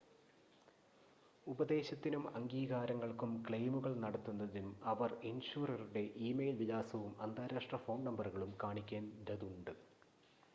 ഉപദേശത്തിനും/അംഗീകാരങ്ങൾക്കും ക്ലെയിമുകൾ നടത്തുന്നതിനും അവർ ഇൻഷുററുടെ ഇ-മെയിൽ വിലാസവും അന്താരാഷ്‌ട്ര ഫോൺ നമ്പറുകളും കാണിക്കേണ്ടതുണ്ട്